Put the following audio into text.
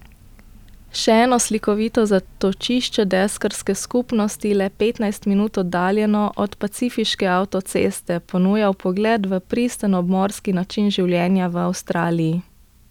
Še eno slikovito zatočišče deskarske skupnosti, le petnajst minut oddaljeno od pacifiške avtoceste, ponuja vpogled v pristen obmorski način življenja v Avstraliji.